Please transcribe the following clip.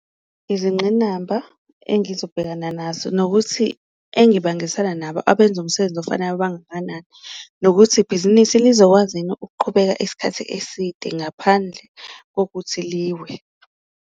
Izinqinamba engizobhekana nazo nokuthi engibangisa nabo abenza umsebenzi ofanayo bangakanani, nokuthi ibhizinisi lizokwazini ukuqhubeka isikhathi eside ngaphandle kokuthi liwe.